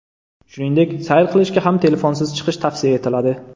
Shuningdek, sayr qilishga ham telefonsiz chiqish tavsiya etiladi.